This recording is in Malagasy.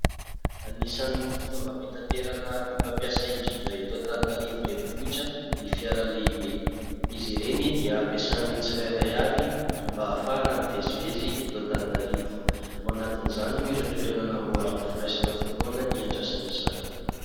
Anisany fitaovam-pitaterana be mpampiasa indrindra eto Antananarivo renivohitra ny fiara lehibe. Izy ireny dia ampiasan'ny tsirairay avy mba ahafahana mivezivezy eto Antananarivo. Ao anatin'izany moa ireo toerana namboarin'ny firaisana voalohany hiandrasana izany.